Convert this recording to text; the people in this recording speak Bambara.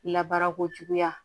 Labaara ko juguya